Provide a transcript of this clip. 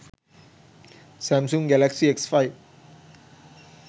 samsung galaxy s5